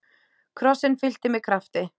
Krossinn fyllti mig krafti.